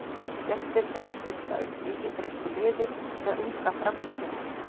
Gestirnir stilla upp mikið breyttu liði með unga framlínu.